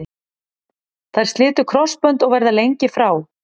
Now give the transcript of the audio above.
Þær slitu krossbönd og verða lengi frá.